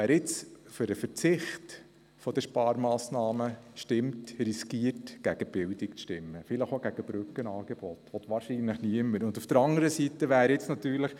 Wer jetzt für den Verzicht auf die Sparmassnahme stimmt, riskiert gegen die Bildung zu stimmen, vielleicht auch gegen Brückenangebote, was wahrscheinlich niemand will.